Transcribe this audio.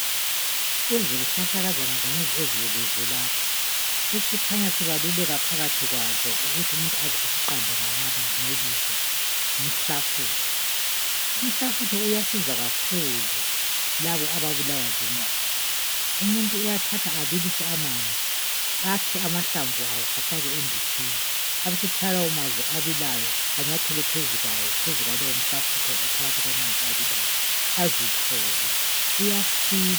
Kuzihlahlakazana zonezi ezibukiswe lapha esikhanya sibaluleka phakathi kwazo ukuthi umuntu aze asiqambe ngebizo ngumhalafutho. Umhlafutho uyasiza kakhulu ababulawa zinyawo, uyathatha abilise amanzi akhe amahlamvu awo afake enditshini abesethela lawo manzi anyathele phezu kwalawo manzi azithobe uyasiza.